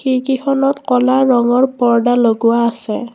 খিৰকীখনত ক'লা ৰঙৰ পৰ্দা লগোৱা আছে।